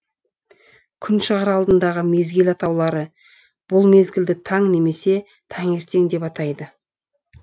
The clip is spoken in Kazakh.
күн шығар алдындағы мезгіл атаулары бұл мезгілді таң немесе таңертең деп атайды